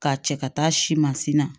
K'a cɛ ka taa si masin na